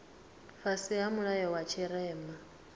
fhasi ha mulayo wa tshirema